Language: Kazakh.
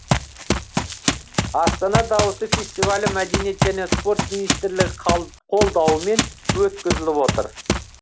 астана дауысы фестивалі мәдениет және спорт министрлігі қолдауымен өткізіліп отыр